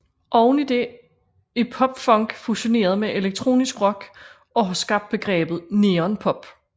Oven i det er pop punk fusioneret med elektronisk rock og har skabt begrebet neon pop